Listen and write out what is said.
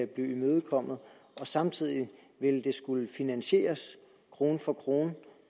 blive imødekommet og samtidig ville det skulle finansieres krone for krone